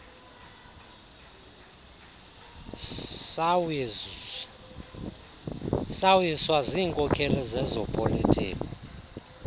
sawiswa ziinkokeli zezopolitiko